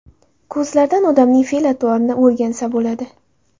Ko‘zlardan odamning fe’l-atvorini o‘rgansa bo‘ladi.